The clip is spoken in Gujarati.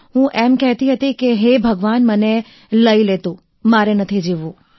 હું એમ કહેતી હતી કે હે ભગવાન મને લઈ લે તુ મારે નથી જીવવું